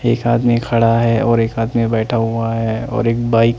एक आदमी खड़ा है और एक आदमी बैठा हुआ है और एक बाइक --